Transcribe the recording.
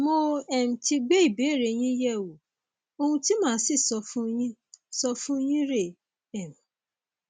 mo um ti gbé ìbéèrè yín yẹwò ohun tí màá sì sọ fún yín sọ fún yín rèé um